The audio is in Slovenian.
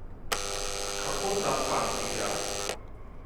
Kako ta fant igra?